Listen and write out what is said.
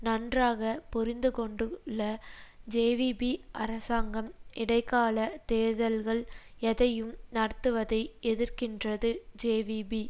நன்றாக புரிந்துகொண்டுள்ள ஜேவிபி அரசாங்கம் இடை கால தேர்தல்கள் எதையும் நடத்துவதை எதிர்க்கின்றது ஜேவிபி